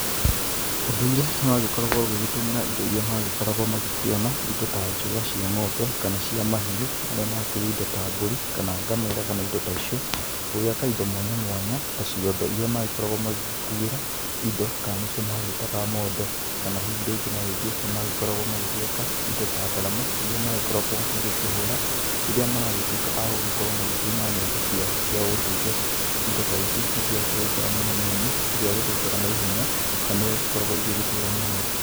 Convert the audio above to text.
Ũndũire nĩ wagĩkoragwo ũgĩgĩtũmĩra indo iria magĩkoragwo magĩkiona, indo ta njũa cia ng'ombe, kana cia mahiũ marĩa makĩri indo ta mbũri, kana ngamĩra kana indo ta icio, gũgĩaka indo mwanya mwanya ta ciondo iria magĩkoragwo magĩgĩkuĩra indo Ka nĩcio magĩĩtaga mondo, kana hihi rĩngĩ na rĩngĩ nĩ magĩkorwo magĩgĩaka indo ta ndarama, iria magĩkoragwo magĩkĩhũra rĩrĩa maragĩtũĩka a gũgĩkorwo magĩkĩina nyĩmbo ciao cia ũndũire. Indo ta ici nĩ ciakĩrĩ njega mũno nĩamũ citiagĩthũkaga na ihenya na nĩyagĩkoragwo igĩgitũra mũno.